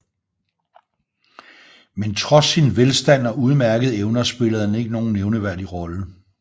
Men trods sin velstand og udmærkede evner spillede han ikke nogen nævnteværdig rolle